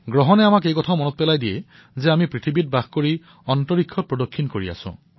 গ্ৰহণে আমাক এই কথা সোঁৱৰাই যে আমি পৃথিৱীত থাকি অন্তৰীক্ষ ভ্ৰমণ কৰি আছো